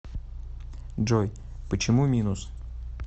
джой почему минус